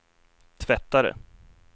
tvättare